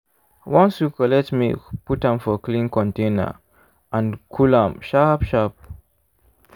once you collect milk put am for clean container and cool am sharp sharp.